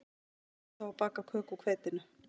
Reyndu þá að baka köku úr hveitinu